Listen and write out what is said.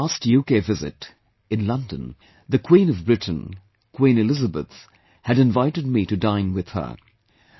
During my past UK visit, in London, the Queen of Britain, Queen Elizabeth had invited me to dine with her